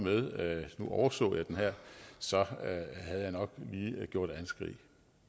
nu overså jeg den her så havde jeg nok lige gjort anskrig